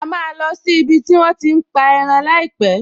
A máa lọ sí ibi tí wón ti ń pa ẹran láìpẹ̀